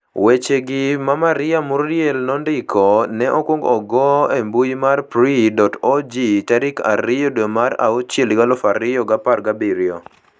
Wechegi, ma Maria Murriel nondiko, ne okwong ogo embui mar PRI.org tarik 2, dwe mara auchiel, 2017.